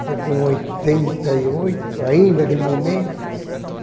Estou com oitenta e oito, ainda de momento.